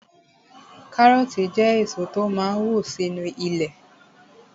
Kárọ̀ọ̀tì jẹ́ èso tó máa n wù sínu ilẹ̀